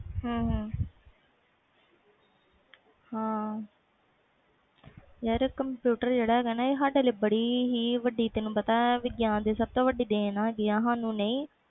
ਹੂੰ ਹੂੰ ਆ ਕੰਪਿਊਟਰ ਜਿਹੜਾ ਹੈ ਗਾ ਨਾ ਇਹ ਸਾਡੇ ਲਈ ਬੜੀ ਹੀ ਵੱਡੀ ਵਿਗਿਆਨ ਦੀ ਦੇਣ ਹੈ ਗੀ